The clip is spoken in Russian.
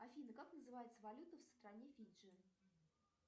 афина как называется валюта в стране фиджи